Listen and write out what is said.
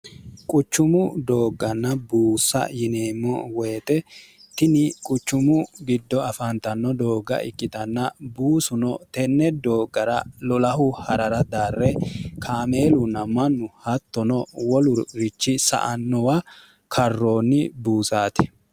quchumu doogganna buusa yineemmo woyixe tini quchumu giddo afaantanno doogga ikkitanna buusuno tenne dooggara lolahu ha'rara darre kaameelunna mannu hattono wolurichi sa annowa karroonni buusaate